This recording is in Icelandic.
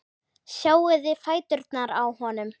Sjáiði fæturna á honum.